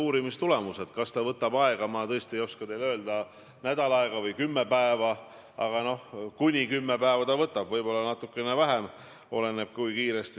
Kuidas sa seisad sidusa ühiskonna eest, kui iga kord, kui Urmas Reitelmann ilmub teleekraanile, uudistesse Eesti esindajana Euroopa Nõukogu Parlamentaarses Assamblees, tulevad inimestele need sõnad meelde?